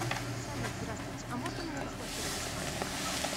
салют здравствуйте а можно мне разблокировать карту